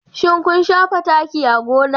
Shin kun shafa taki a gona?